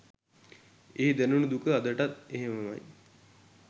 ඒ දැනුනු දුක අදටත් එහෙමමයි.